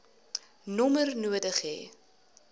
nommer nodig hê